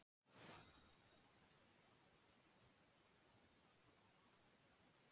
Fyrst fóru þeir til Kaupmannahafnar, en þar fannst þeim hamingjan of dýr og of skipulagslaus.